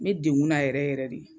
N bɛ dekunna yɛrɛ yɛrɛ de.